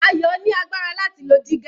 Ayo ni agbára láti lo dígà.